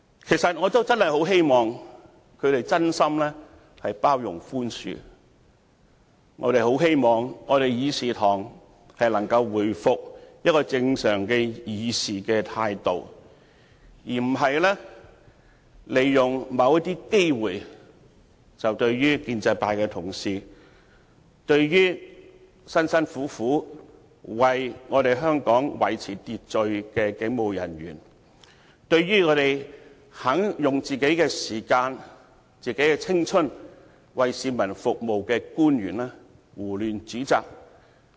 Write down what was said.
其實，我也真的很希望他們能真心包容和寬恕，很希望我們的議事堂能夠重拾正常議事的態度，而不是利用某些機會，胡亂指摘建制派同事，辛辛苦苦為香港維持秩序的警務人員，以及用個人時間和青春為市民服務的官員。